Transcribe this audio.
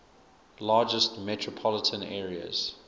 largest metropolitan areas